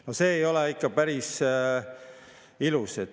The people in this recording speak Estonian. No see ei ole ikka päris ilus.